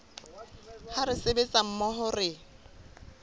ha re sebetsa mmoho re